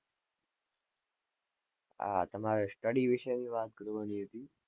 આ તમારા study વિશેની વાત કરવાની હતી.